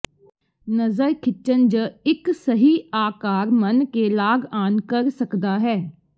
ਨਜ਼ਰ ਖਿੱਚਣ ਜ ਇੱਕ ਸਹੀ ਆਕਾਰ ਮਣਕੇ ਲਾੱਗਆਨ ਕਰ ਸਕਦਾ ਹੈ